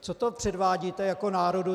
Co to předvádíte jako národu?